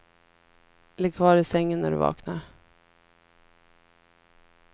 Ligg kvar i sängen när du vaknar.